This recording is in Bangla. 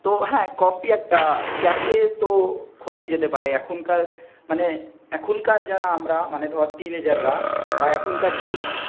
তো হ্যাঁ কফি একটা ক্যাাফ তো খোলাই যেতে পারে. এখনকার মানে এখনকার যারা আমরা মানে ধর টিনেজার রা বা এখনকার ইয়ুথ